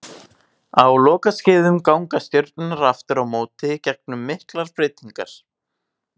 Á lokaskeiðum ganga stjörnurnar aftur á móti gegnum miklar breytingar.